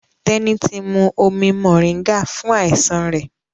Teni tí mú omí moringa fún àìsàn rẹ.